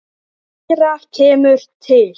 Fleira kemur til.